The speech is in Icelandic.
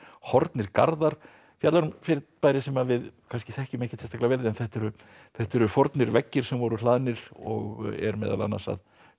horfnir garðar fjallar um fyrirbæri sem við kannski þekkjum ekki sérstaklega vel en þetta eru þetta eru veggir sem voru hlaðnir og er meðal annars að